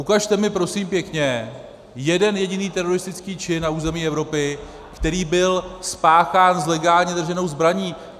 Ukažte mi prosím pěkně jeden jediný teroristický čin na území Evropy, který byl spáchán s legálně drženou zbraní.